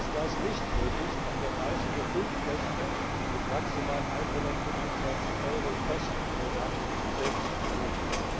Ist das nicht möglich, kann der Reisende fünf Nächte mit maximal 125nbsp Euro Kosten pro Nacht selbst buchen.